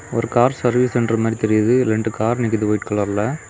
ஒரு car service centre மாதிரி தெரியுது ரெண்டு கார் நிக்குது ஒயிட் கலர்ல .